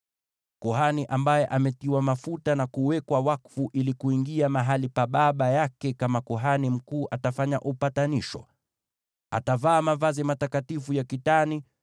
Kuhani ambaye ametiwa mafuta na kuwekwa wakfu ili kuingia mahali pa baba yake kama kuhani mkuu atafanya upatanisho. Atavaa mavazi matakatifu ya kitani,